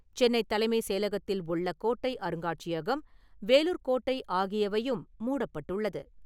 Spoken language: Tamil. சென்னை தலைமைச் செயலகத்தில் உள்ள கோட்டை அருங்காட்சியகம், வேலூர் கோட்டை ஆகியவையும் மூடப்பட்டுள்ளது.